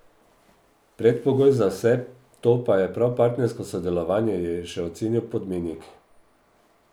Predpogoj za vse to pa je prav partnersko sodelovanje, je še ocenil Podmenik.